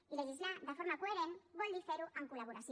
i legislar de forma coherent vol dir ferho en col·laboració